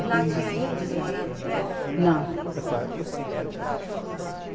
E lá tinha índios morando perto também?